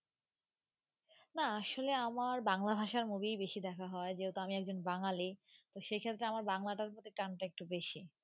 না আসলে আমার বাংলা ভাষার movie বেশি দেখা হয় যেহেতু আমি একজন বাঙালি, তো সেক্ষেত্রে আমার বাংলাটার প্রতি টানটা একটু বেশি